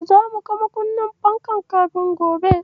Zamu ga makunnin fankar kafin gobe.